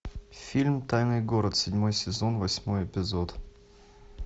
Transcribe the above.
фильм тайный город седьмой сезон восьмой эпизод